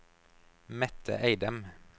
Mette Eidem